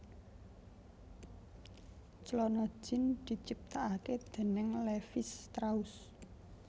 Clana jean diciptakake déning Levis Strauss